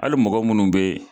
Hali mɔgɔ munnu bɛ